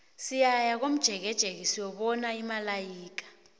siyaya komjekejeke siyokubona imalaika